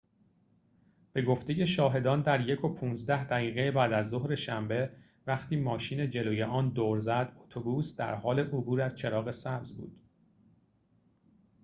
به گفته شاهدان در ۱:۱۵ دقیقه بعدازظهر شنبه وقتی ماشین جلوی آن دور زد اتوبوس در حال عبور از چراغ سبز بود